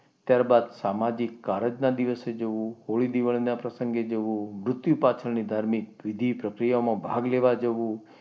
ત્યારબાદ સામાજિક કારજ ના દિવસે જવું. હોળી દિવાળીના પ્રસંગે જવું. મૃત્યુ પાછળની વિધિ ધાર્મિક પ્રક્રિયામાં ભાગ લેવા જવું.